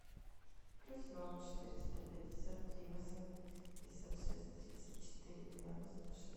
плюс ноль четыреста пятьдесят три восемьдесят шесть тридцать четыре девяносто шесть